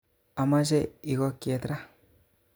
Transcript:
Omoche ikokyet ra